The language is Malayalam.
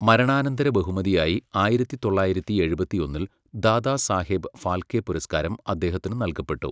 മരണാനന്തര ബഹുമതിയായി ആയിരത്തിത്തൊളളായിരത്തി എഴുപത്തിയൊന്നിൽ ദാദാസാഹേബ് ഫാൽക്കെ പുരസ്കാരം അദ്ദേഹത്തിന് നൽകപ്പെട്ടു.